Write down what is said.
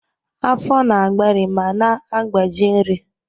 Afọ na-agbari ma na-agbaji nri.